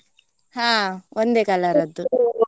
ಹಾ ಒಂದೇ colour ಅದ್ದು .